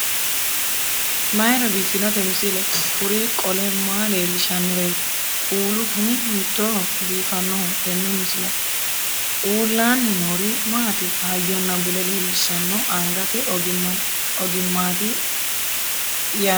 mayra biiffinote misile? kuri qole maa leellishannoreeti? kuulu kuni hiittooho biifannoho tenne misilehu? uullaanni noori maati? hayyonna bude leellishanno angate ogimmaati yaate tini